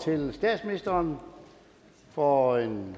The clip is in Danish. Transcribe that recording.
til statsministeren for en